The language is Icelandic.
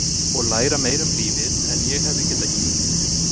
Og læra meira um lífið en ég hefði getað ímyndað mér.